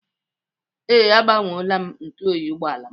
Ee, agbanweela m ntụ oyi ụgbọala m.